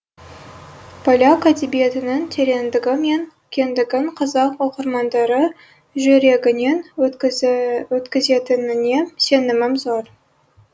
поляк әдебиетінің тереңдігі мен кеңдігін қазақ оқырмандары жүрегінен өткізетініне сенімім зор